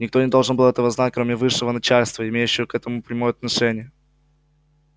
никто не должен был этого знать кроме высшего начальства имеющего к этому прямое отношение